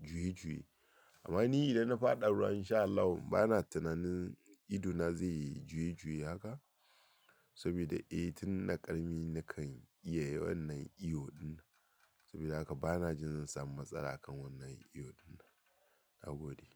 juye juye. Amma ni idan na faɗa a ruwa insha Allahu ba na tunanin idona zai juye juye haka. Sabida eh tun na ƙarami na kan iya wannan iyo din. Sabida haka bana jin zan samu matsala a kan wannan iyo dinnan. Nagode.